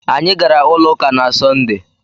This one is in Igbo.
Anyị gaara ụlọ ụka na Sọnde.